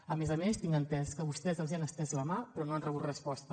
a més a més tinc entès que vostès els han estès la mà però no han rebut resposta